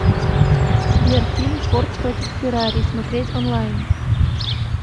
сбер фильм форт против феррари смотреть онлайн